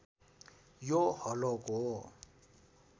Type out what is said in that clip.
यो हलोको